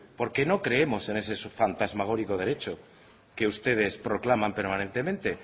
porque no creemos en ese fantasmagórico derecho que ustedes proclaman permanentemente